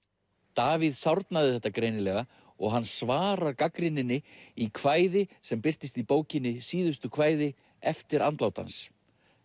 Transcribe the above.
Davíð sárnaði þetta greinilega og hann svarar gagnrýninni í kvæði sem birtist í bókinni síðustu kvæði eftir andlát hans